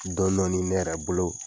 Dɔɔnin dɔɔnin ne yɛrɛ bolo